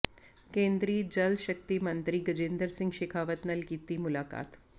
ਕੇਂਦਰੀ ਜਲ ਸ਼ਕਤੀ ਮੰਤਰੀ ਗਜੇਂਦਰ ਸਿੰਘ ਸ਼ੇਖਾਵਤ ਨਾਲ ਕੀਤੀ ਮੁਲਾਕਾਤ